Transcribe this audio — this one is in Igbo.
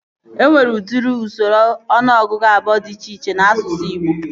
E nwere udiri usoro ọnụọgụgụ abụọ dị iche iche n'asụsụ Ịgbo